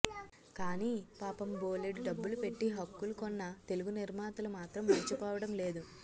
కానీ పాపం బోలెడు డబ్బులు పెట్టి హక్కులు కొన్న తెలుగు నిర్మాతలు మాత్రం మరిచిపోవడం లేదు